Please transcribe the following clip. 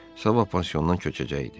Sabah pansiondan köçəcəkdi.